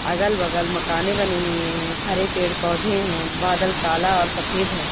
अगल बगल मकाने बनी हुई हैं हरे पेड़ पौधें हैं बादल काला और सफेद हैं।